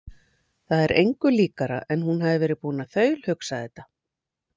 Það er engu líkara en hún hafi verið búin að þaulhugsa þetta.